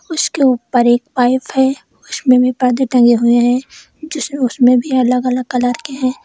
उसके ऊपर एक पाइप है उसमें भी पर्दे टंगे हुए हैं जिसमें उसमें भी अलग अलग कलर के हैं।